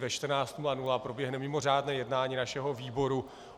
Ve 14.00 proběhne mimořádné jednání našeho výboru.